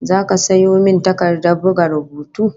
Zaka sayo min takardar buga rubutu?